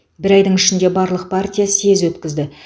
бір айдың ішінде барлық партия съез өткізді